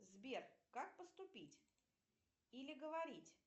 сбер как поступить или говорить